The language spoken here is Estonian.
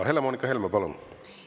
Helle-Moonika Helme, palun!